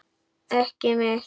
Ekki mitt.